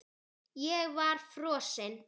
Ég var frosin.